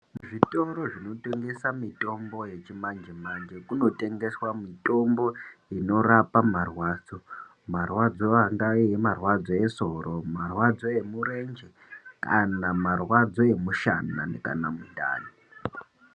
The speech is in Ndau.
Zvitoro zvinotengesa mitombo yechimanje manje kuno tengeswa mitombo inorapa marwadzo marwadzo angave marwadzo esoro Marwadzo emurenje kana marwadzo emushana kana mundani.